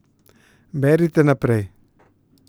Berite naprej!